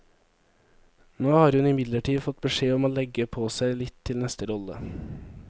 Nå har hun imidlertid fått beskjed om å legge på seg litt til neste rolle.